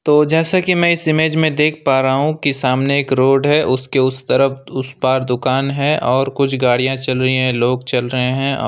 जैसा कि मैं इस इमेज में देख पा रहा हूं कि सामने एक रोड है उसके उसे तरफ उस पार दुकान है और कुछ गाड़ियां चल रही है लोग चल रहे हैं और--